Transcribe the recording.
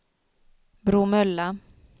Bromölla